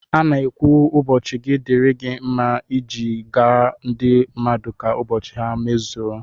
A na-ekwu ụbọchị gi dịri gi mma iji gwa ndị mmadụ ka ụbọchị ha mmezuo